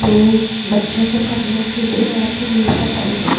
यह बच्चो के पढ़ने के लिए यहाँ पर मेज लगाई गई ए।